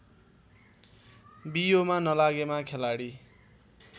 बियोमा नलागेमा खेलाडी